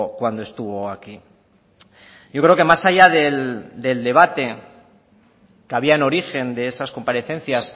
cuando estuvo aquí yo creo que más allá del debate que había en origen de esas comparecencias